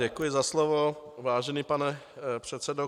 Děkuji za slovo, vážený pane předsedo.